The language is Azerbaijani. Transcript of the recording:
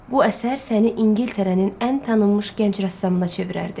Bu əsər səni İngiltərənin ən tanınmış gənc rəssamına çevirərdi.